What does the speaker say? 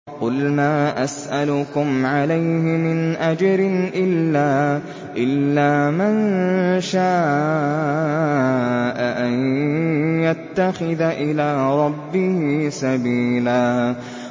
قُلْ مَا أَسْأَلُكُمْ عَلَيْهِ مِنْ أَجْرٍ إِلَّا مَن شَاءَ أَن يَتَّخِذَ إِلَىٰ رَبِّهِ سَبِيلًا